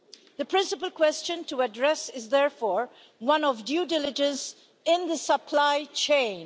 The principal question to address is therefore one of due diligence in the supply chain.